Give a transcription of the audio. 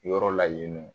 Yɔrɔ la yen nɔ